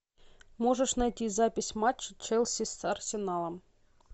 можешь найти запись матча челси с арсеналом